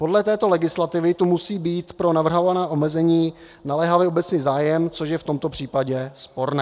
Podle této legislativy tu musí být pro navrhované omezení naléhavý obecný zájem, což je v tomto případě sporné.